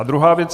A druhá věc.